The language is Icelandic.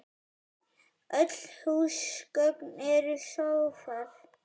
Öll húsgögn eru sófar